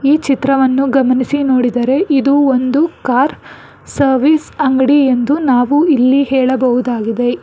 ಈ ಚಿತ್ರವನ್ನು ಗಮನಿಸಿ ನೋಡಿದರೆ ಇದು ಒಂದು ಕಾರ್ ಸರ್ವಿಸ್ ಅಂಗಡಿ ಎಂದು ನಾವು ಇಲ್ಲಿ ಹೇಳಬಹುದಾಗಿದೆ.